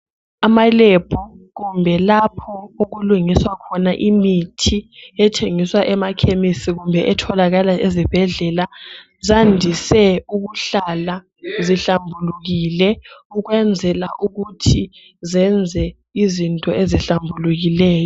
Amalab kumbe lapho okulungiswa khona imithi ethengiswa emakhemisi kumbe etholakala ezibhedlela zandiswe ukuhlala zihlambulukile ukwenzela ukuthi zenze izinto ezihlambulukileyo